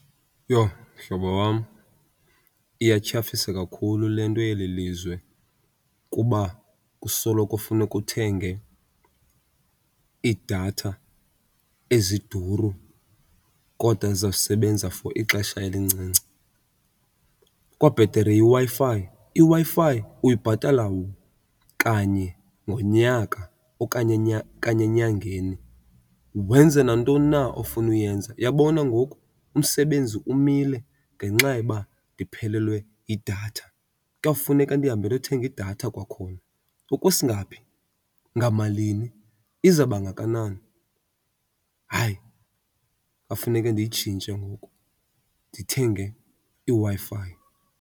Yho mhlobo wam iyathyafisa kakhulu le nto yeli lizwe kuba kusoloko funeke uthenge iidatha eziduru kodwa zizawusebenza for ixesha elincinci. Kukwabhetere iWi-Fi, iWi-Fi uyibhatala kanye ngonyaka okanye kanye enyangeni wenze nantoni na ofuna uyenza. Uyabona ngoku umsebenzi umile ngenxa yoba ndiphelelwe yidatha. Kuyawufuneka ndihambe ndothenga idatha kwakhona. Okwesingaphi? Ngamalini? Izabangakanani? Hayi, kwafuneke ndiyitshintshe ngoku ndithenge iWi-Fi.